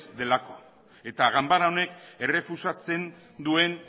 delako eta ganbara honek errefusatzen duen